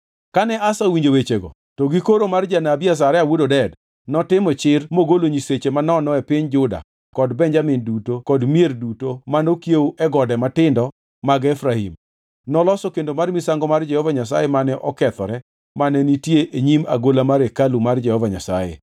Kane Asa owinjo wechegi to gi koro mar janabi Azaria wuod Oded, notimo chir mogolo nyiseche manono e piny Juda kod Benjamin duto kod mier duto manokawo e gode matindo mag Efraim. Noloso kendo mar misango mar Jehova Nyasaye mane okethore mane nitie e nyim agola mar hekalu mar Jehova Nyasaye.